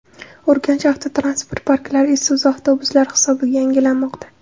Urganch avtotransport parklari Isuzu avtobuslari hisobiga yangilanmoqda.